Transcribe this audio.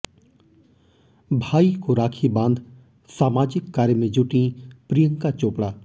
भाई को राखी बांध सामाजिक कार्य में जुटीं प्रियंका चोपड़ा